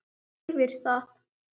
Bíllinn hafði farið yfir það.